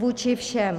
Vůči všem.